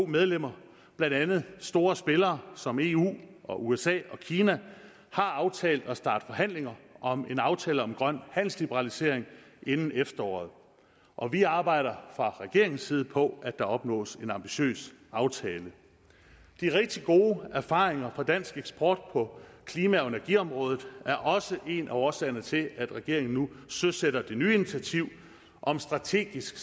medlemmer blandt andet har store spillere som eu og usa og kina aftalt at starte forhandlingerne om en aftale om grøn handelsliberalisering inden efteråret og vi arbejder fra regeringens side på at der opnås en ambitiøs aftale de rigtig gode erfaringer fra dansk eksport på klima og energiområdet er også en af årsagerne til at regeringen nu søsætter det nye initiativ om strategisk